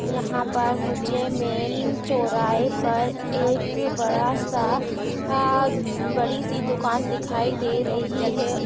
यहा पर मुझे मेन चौराहे पर एक बड़ासा आ बडीसी दुकान दिखाई दे रही है।